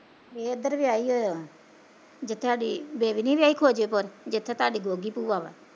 ਏ ਏਦਰ ਵਿਆਹੀ ਹੋਈ ਆ, ਜਿੱਥੇ ਸਾਡੀ ਬੇਬੀ ਨੀ ਵਿਆਹੀ ਖਵਾਜੇਪੁਰ, ਜਿੱਥੇ ਤਾਡੀ ਗੋਗੀ ਭੂਆ ਵਾ